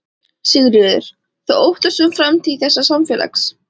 Sigríður: Þú óttast um framtíð þessa samfélags?